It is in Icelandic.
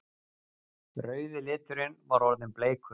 Rauði liturinn var orðinn bleikur!